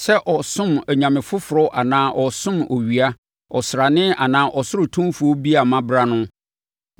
sɛ ɔresom anyame foforɔ anaa ɔresom owia, ɔsrane anaa ɔsoro atumfoɔ bi a mabra no, na